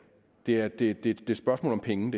dyrt det er et et spørgsmål om penge